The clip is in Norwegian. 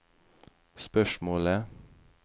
spørsmålet